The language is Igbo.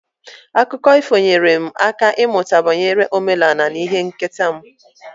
Akụkọ ifo nyeere m aka ịmụta banyere omenala na ihe nketa m.